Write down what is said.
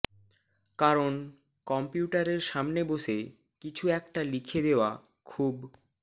কারণ কম্পিউটারের সামনে বসে কিছু একটা লিখে দেওয়া খুব